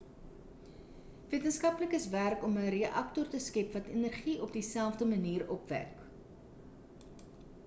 wetenskaplikes werk om 'n reaktor te skep wat energie op dieselfde manier opwek